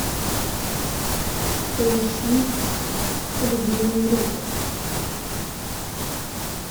поищи львиный рык